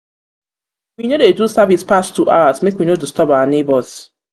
we no dey do service pass two hours make we no disturb our nebors.